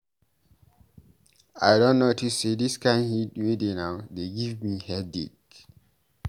I don notice sey di kind heat wey dey now dey give me headache.